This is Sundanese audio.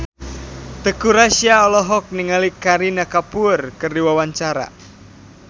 Teuku Rassya olohok ningali Kareena Kapoor keur diwawancara